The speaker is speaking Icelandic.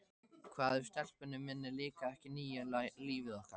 Hvað ef stelpunni minni líkaði ekki nýja lífið okkar?